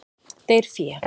Deyr fé.